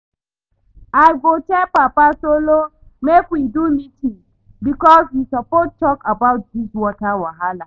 I go tell Papa Solo make we do meeting because we suppose talk about dis water wahala